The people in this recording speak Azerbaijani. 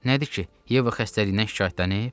Nədir ki, Yeva xəstəliyindən şikayətlənib?